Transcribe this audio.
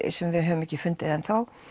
sem við höfum ekki fundið enn þá